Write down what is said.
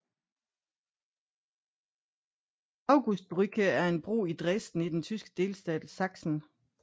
Augustusbrücke er en bro i Dresden i den tyske delstat Sachsen